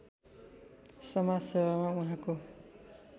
समाजसेवामा उहाँको